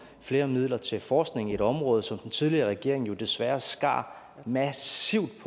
flere midler til forskning i et område som den tidligere regering jo desværre skar massivt